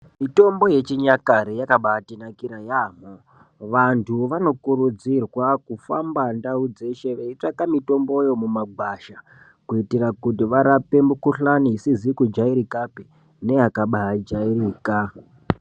Mitombo yechinyakare yakabaatinakira yaambho vanthu vanokurudzirwa kufamba ndau dzeshe veitsvaka mitomboyo mumagwasha kuitira kuti varape mikuhlani isizi kujairikapi neyakabaijairika.